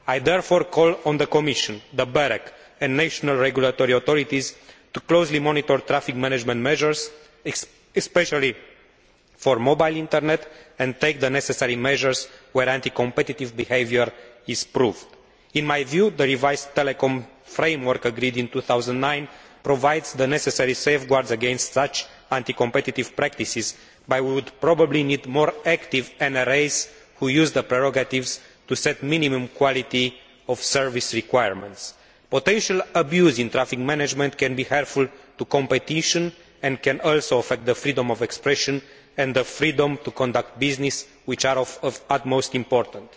I therefore call on the Commission, BEREC and the national regulatory authorities to closely monitor traffic management measures, especially for mobile internet, and take the necessary measures where anti competitive behaviour is proved. In my view, the revised telecoms framework agreed in 2009 provides the necessary safeguards against such anti competitive practices, but we probably need more active NRAs, which use their prerogatives to set minimum quality of service requirements. Potential abuse in traffic management can be harmful to competition and can also affect freedom of expression and the freedom to conduct business, which are of the utmost importance.